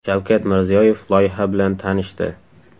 Shavkat Mirziyoyev loyiha bilan tanishdi.